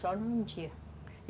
Só num dia.